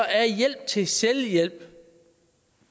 er hjælp til selvhjælp